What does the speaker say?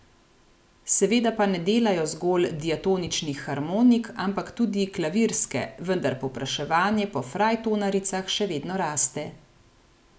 Seveda pa ne delajo zgolj diatoničnih harmonik, ampak tudi klavirske, vendar povpraševanje po frajtonaricah še vedno raste.